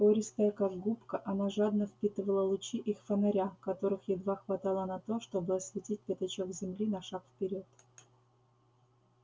пористая как губка она жадно впитывала лучи их фонаря которых едва хватало на то чтобы осветить пятачок земли на шаг вперёд